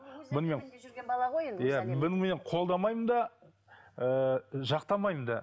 бұны мен қолдамаймын да ыыы жақтамаймын да